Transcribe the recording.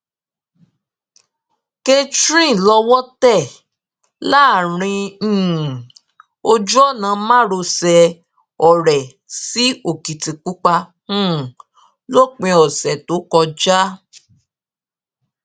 catherine lọwọ tẹ láàrin um ojúọnà márosẹ ọrẹ sí ọkìtìpápá um lópin ọsẹ tó kọjá